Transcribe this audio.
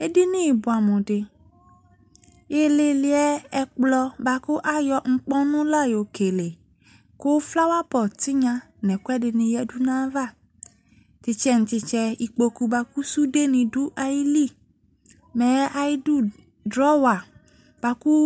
Edini buamu de ileleɛ ɛkolɔ boako ayɔ nkpɔnu la yɔ kele ko flower pot tenya no ɛkuɛde ne yadu nava Tetsɛ no tesɛ, ikpoku boako sude ne do ayili Mɛ ayedu drawer boako